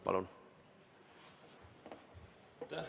Palun!